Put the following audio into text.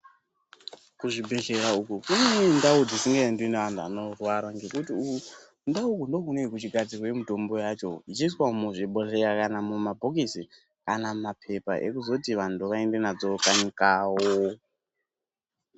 Kuzvibhedhleya uku kune ndau dzisingaendwi neantu anorwara ngekuti kundau uku ndokunenge kwechigadzirwe mitombo yacho ichiiswa muzvibhodhleya kana mapoketsi kana mapepa ekuzoti vantu vaende nadzo kanyi kwawo.